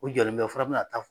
O jɔlen bɛ o fana be n'a ta fɔ